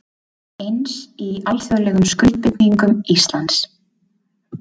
Eins í alþjóðlegum skuldbindingum Íslands